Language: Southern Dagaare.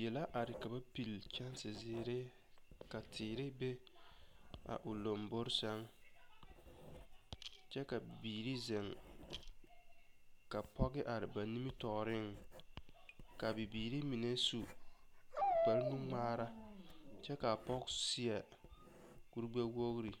Die la are ka ba pili ne kyɛnsezeere teere be a lomboriŋ sɛŋ kyɛ ka bibiiri zeŋ ka pɔge are ba nimitɔɔreŋ ka a bibiiri mine su kpagre nuŋmaara kyɛ ka a pɔge seɛ kurigbɛwogri.